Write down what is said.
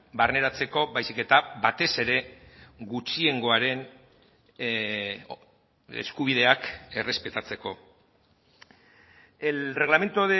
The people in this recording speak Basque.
barneratzeko baizik eta batez ere gutxiengoaren eskubideak errespetatzeko el reglamento